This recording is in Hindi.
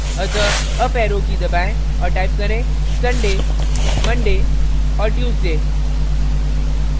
अतः अप arrow की दबाएं और type करें: sunday monday और tuesday